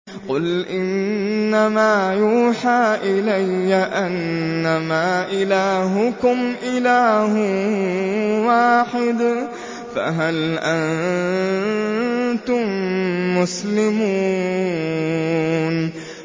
قُلْ إِنَّمَا يُوحَىٰ إِلَيَّ أَنَّمَا إِلَٰهُكُمْ إِلَٰهٌ وَاحِدٌ ۖ فَهَلْ أَنتُم مُّسْلِمُونَ